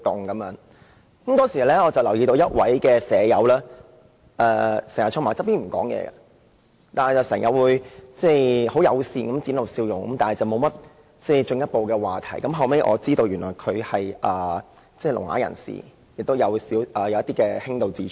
我當時留意到一位院友經常坐在一旁不說話，但不時友善地展露笑容，不過沒有進一步的話題，後來我得知他是聾啞人士，並有輕度智障。